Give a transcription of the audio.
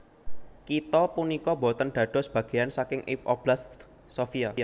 Kitha punika boten dados bagéan saking Oblast Sofia